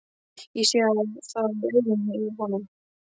Ég sé það á augunum í honum.